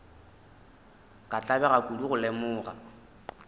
ka tlabega kudu go lemoga